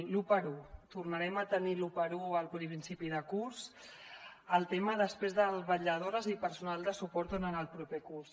l’1x1 tornarem a tenir l’1x1 al principi de curs el tema després de vetlladores i personal de suport en el proper curs